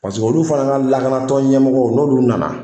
olu fana ka lakanatɔn ɲɛmɔgɔw n'olu nana